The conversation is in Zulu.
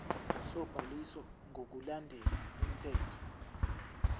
sobhaliso ngokulandela umthetho